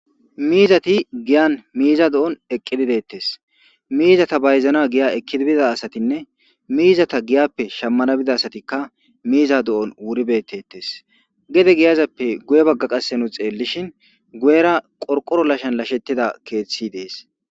miizati giyan miiza do7on eqqididettes miizata bayzana giya ekkidibida asatinne miizata giyappe shammana bida asatikka miiza do7on wuribettettes gede giyazappe guye bagga qasse nu xeellishin guyera qorqoro lashan lashettida keeththi dees